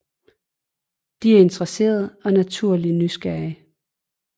De er interesserede og naturligt nysgerrige